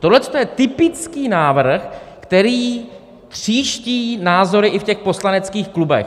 Tohle je typický návrh, který tříští názory i v těch poslaneckých klubech.